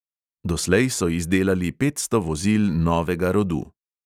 Doslej so izdelali petsto vozil novega rodu.